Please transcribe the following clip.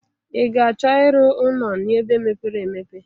I ga achọ ị rụ ụnọ n'ebe mepere emepe?